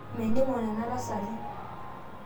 meningo nena tasati